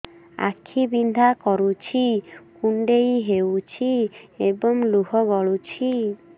ଆଖି ବିନ୍ଧା କରୁଛି କୁଣ୍ଡେଇ ହେଉଛି ଏବଂ ଲୁହ ଗଳୁଛି